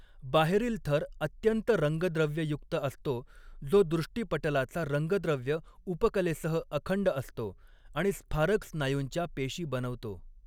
बाहेरील थर अत्यंत रंगद्रव्ययुक्त असतो जो दृष्टीपटलाचा रंगद्रव्य उपकलेसह अखंड असतो आणि स्फारक स्नायूंच्या पेशी बनवतो.